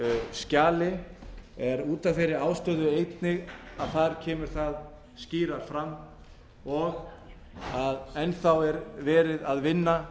skjali er út af þeirri ástæðu einni að þar kemur það skýrar fram og að enn þá er verið að vinna